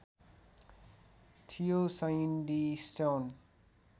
थियो Sandy stone